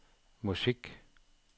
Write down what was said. musik